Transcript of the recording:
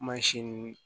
Mansin nunnu